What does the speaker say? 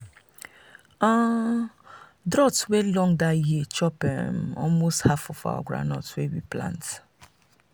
um drought um wey long that year chop um almost half of our groundnut wey we plant.